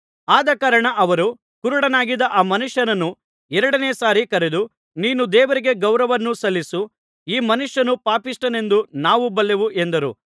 ಆದಕಾರಣ ಅವರು ಕುರುಡನಾಗಿದ್ದ ಆ ಮನುಷ್ಯನನ್ನು ಎರಡನೆಯ ಸಾರಿ ಕರೆದು ನೀನು ದೇವರಿಗೆ ಗೌರವವನ್ನು ಸಲ್ಲಿಸು ಈ ಮನುಷ್ಯನು ಪಾಪಿಷ್ಠನೆಂದು ನಾವು ಬಲ್ಲೆವು ಎಂದರು